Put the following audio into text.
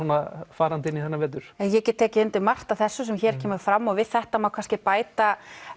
farandi inn í þennan vetur ég get tekið undir margt af þessu sem hér kemur fram og við þetta má kannski bæta